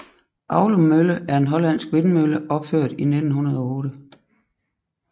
Aulum Mølle er en hollandsk vindmølle opført i 1908